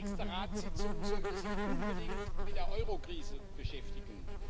Die nächste Ratssitzung sollte sich unbedingt mit der Eurokrise beschäftigen.